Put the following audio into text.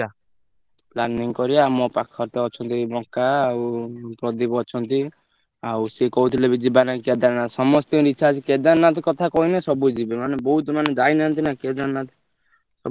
Planning କରିବା ମୋ ପାଖରେ ତ ଅଛନ୍ତି ବଙ୍କା ଆଉ ପ୍ରଦୀପ ଅଛନ୍ତି ଆଉ ସେ କହୁଥିଲେ ବି ଯିବାଲାଗି କେଦାରନାଥ ସମସ୍ତଙ୍କର ଇଚ୍ଛା ଅଛି କେଦାରନାଥ କଥା କହିଲେ ସବୁ ଯିବେ ମାନେ ବହୁତ ମାନେ ଯାଇନାହାନ୍ତି ନା କେଦାରନାଥ ସମସ୍ତେ ଯିବେ କେଦାରନାଥ।